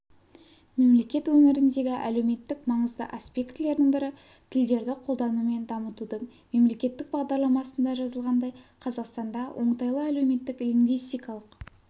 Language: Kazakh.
мемлекет өміріндегі әлеуметтік маңызды аспектілердің бірі тілдерді қолдану мен дамытудың мемлекеттік бағдарламасында жазылғандай қазақстанда оңтайлы әлеуметтік-лингвистикалық